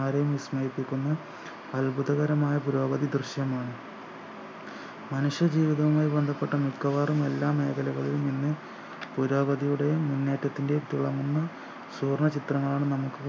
ആരെയും വിസ്മയിപ്പിക്കുന്ന അത്ഭുതകരമായ പുരോഗതി ദൃശ്യമാണ് മനുഷ്യ ജീവിതവുമായി ബന്ധപ്പെട്ട മിക്കവാറും എല്ലാ മേഖലകളിലും ഇന്ന് പുരോഗതിയുടെയും മുന്നേറ്റത്തിൻ്റെയും തിളങ്ങുന്ന സുവർണ്ണ ചിത്രമാണ് നമുക്ക്